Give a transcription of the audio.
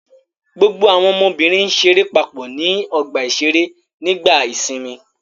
Gbogbo àwọn ọmọbìnrin ṣeré papọ̀ ní ọgbà-ìṣeré nígbà ìsìnmi.